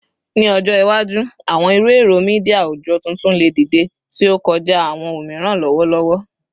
Ni ọjọ iwaju, awọn iru ẹrọ media awujọ tuntun le dide, ti o kọja awọn omiran lọwọlọwọ